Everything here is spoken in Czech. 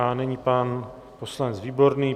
A nyní pan poslanec Výborný.